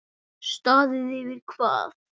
Staðið yfir hvað?